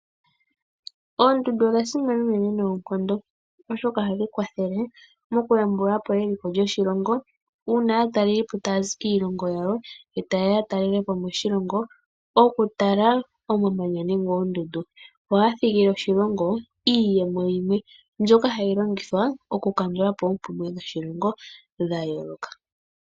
Oondundu odha simana unene noonkondo oshoka ohadhi kwathele mokuyambulapo eliko lyoshilongo uuna aatalelipo taya zi kiilongo yawo etayeya ya talelepo moshilongo okutala omamanya nenge oondundu yo ohaya dhigile oshilongo iiyemo yimwe mbyoka hayi longthwa okukandulapo oompumwe dhoshilongo dha yooloka.